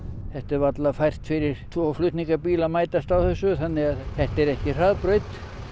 þetta er varla fært fyrir tvo flutningabíla að mætast á þessu þannig að þetta er ekki hraðbraut